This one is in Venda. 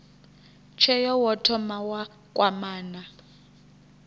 tsheo wo thoma wa kwamana